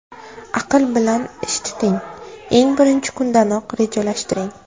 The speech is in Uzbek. Aql bilan ish tuting: eng birinchi kundanoq rejalashtiring.